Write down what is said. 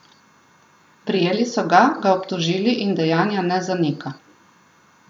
Prijeli so ga, ga obtožili in dejanja ne zanika.